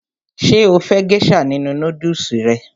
Ṣé o fẹ́ gésà nínu nódùsù rẹ?